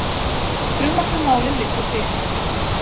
Frumvarp um málið liggur fyrir.